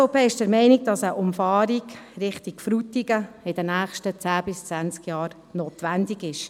Die SVP ist der Meinung, dass eine Umfahrung in Frutigen in den nächsten zehn bis zwanzig Jahren notwendig ist.